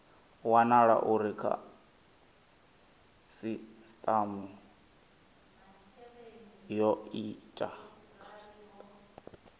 wanala uri khasitama yo ita